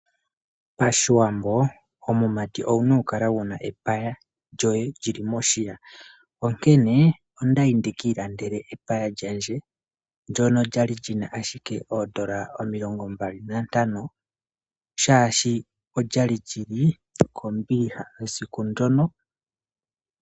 Pashiwambo omumati owuna oku kala wuna epaya lyoye lyili moshiya onkene okwali ayi ekiikandele epaya lye oshoka olyali kombiliha esiku ndyo.